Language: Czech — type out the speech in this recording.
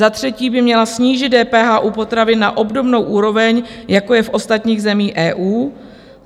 Za třetí by měla snížit DPH u potravin na obdobnou úroveň, jako je v ostatních zemích EU.